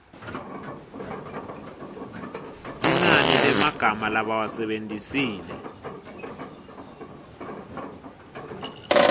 linani lemagama labawasebentisile